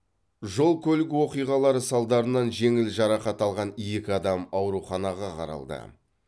жол көлік оқиғалары салдарынан жеңіл жарақат алған екі адам ауруханаға қаралды